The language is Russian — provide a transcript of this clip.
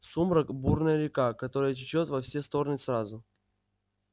сумрак бурная река которая течёт во все стороны сразу